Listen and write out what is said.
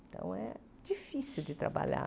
Então, é difícil de trabalhar.